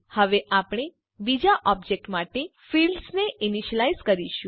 હવે આપણે બીજા ઓબજેક્ટ માટે ફિલ્ડ્સ ને ઈનીશ્યલાઈઝ કરીશું